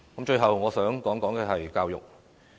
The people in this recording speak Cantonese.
最後，我想談談教育。